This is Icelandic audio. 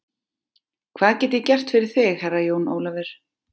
Hvað get ég gert fyrir þig Herra Jón Ólafur?